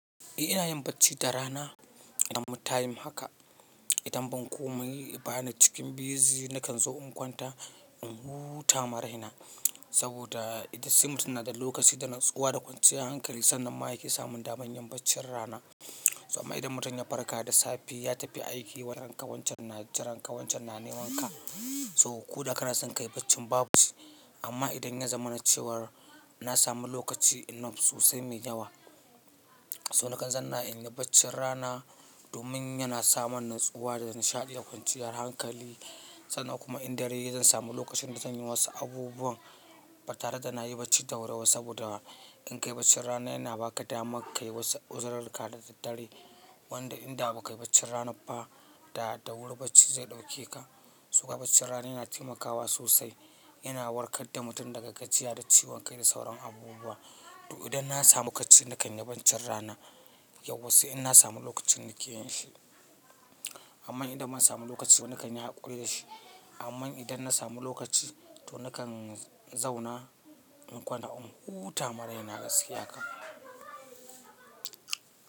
Eh ina yin bacci da rana, idan ina da time haka, idan ban komai bana cikin busy nakan zo in kwanta in huta maraina. Saboda se mutum yana da lokaci da natsuwa da kwanciyar hankali sannan ma yake samun daman yin baccin rana. Amma idan mutum ya farka da safe ya tafi aiki wani ranka wancan na jiran ka wancan na neman ka so ko da kana son kayi bacci babu shi. Amma idan ya zama na cewar na samu lokaci enough sosai mai yawa, so na kan zanna inyi baccin rana domin yana sa man natsuwa da nishaɗi da kwanciyar hankali. Sannan kuma in dare yayi zan samu lokacin da zan yi wasu abubuwan ba tare da na yi bacci da wuri ba. Saboda in kayi bacci rana yana baka damar kayi wasu uzurarka da daddare wanda in da ba kayi bacci rana ba, da da wuri bacci zai ɗauke ka. Toko baccin rana yana taimakawa sosai, yana warkar da mutum daga gajiya da ciwon kai da sauran abubuwa. To idan na samu kacci nakan yi baccin rana, yauwa sai in na samu lokacin nake yin shi. Amman idan ban samu lokaci ba nakan yi haƙuri da shi. Amman idan na samu lokaci to nakan zauna in kwanta in huta ma raina gaskiya kam.